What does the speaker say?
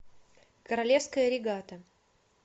королевская регата